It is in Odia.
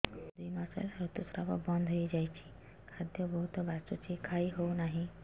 ମୋର ଦୁଇ ମାସ ହେଲା ଋତୁ ସ୍ରାବ ବନ୍ଦ ହେଇଯାଇଛି ଖାଦ୍ୟ ବହୁତ ବାସୁଛି ଖାଇ ହଉ ନାହିଁ